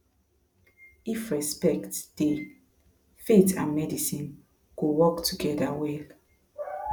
if respect dey faith and medicine go work together well